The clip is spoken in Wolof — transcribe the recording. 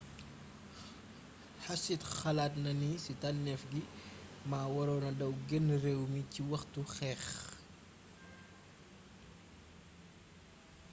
hsied xalaatna ni ci tannééf gi ma waronna daw génn réew mi ci waxtu xeex